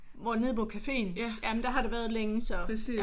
Hvor nede mod caféen? Jamen der har det været længe så